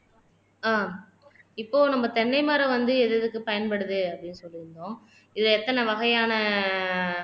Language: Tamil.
ஆஹ் இப்போ நம்ம தென்னை மரம் வந்து எது எதுக்கு பயன்படுது அப்படின்னு சொல்லி இருந்தோம் இது எத்தனை வகையான